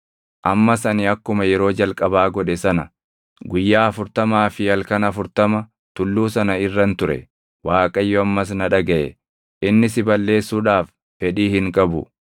Ammas ani akkuma yeroo jalqabaa godhe sana guyyaa afurtamaa fi halkan afurtama tulluu sana irran ture; Waaqayyo ammas na dhagaʼe. Inni si balleessuudhaaf fedhii hin qabu.